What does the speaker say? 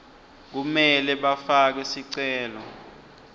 kumele bafake sicelo